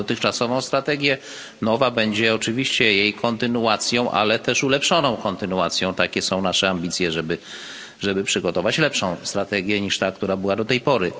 Mamy dotychczasową strategię, nowa będzie oczywiście jej kontynuacją, ale ulepszoną kontynuacją takie są nasze ambicje, żeby przygotować lepszą strategię niż ta, która była do tej pory.